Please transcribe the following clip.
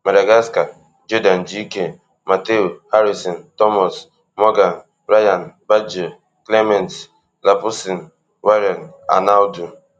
madagascar geordan gk matheu harisson thomas morgan rayan baggio clement lapoussin warren arnaud